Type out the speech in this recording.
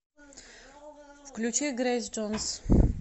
включи грейс джонс